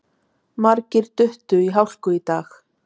Margir duttu í hálku í dag